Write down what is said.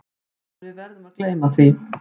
En við verðum að gleyma því.